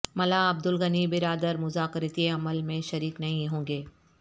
ملا عبدالغنی برادر مذاکراتی عمل میں شریک نہیں ہونگے